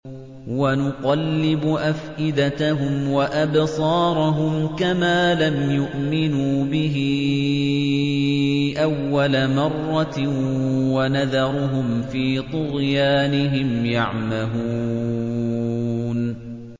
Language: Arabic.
وَنُقَلِّبُ أَفْئِدَتَهُمْ وَأَبْصَارَهُمْ كَمَا لَمْ يُؤْمِنُوا بِهِ أَوَّلَ مَرَّةٍ وَنَذَرُهُمْ فِي طُغْيَانِهِمْ يَعْمَهُونَ